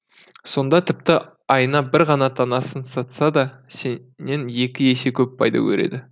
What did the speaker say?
сонда тіпті айына бір ғана танасын сатса да сенен екі есе көп пайда көреді